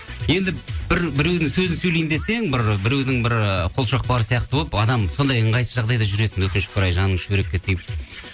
енді біреудің сөзін сөйлейін десең бір біреудің бір ы қолшоқпары сияқты болып адам сондай ыңғайсыз жағдайда жүресің өкінішке орай жаныңды шүберекке түйіп